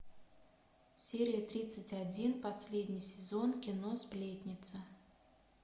серия тридцать один последний сезон кино сплетница